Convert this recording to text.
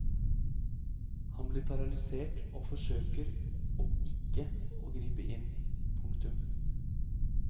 Han blir paralysert og forsøker ikke å gripe inn. punktum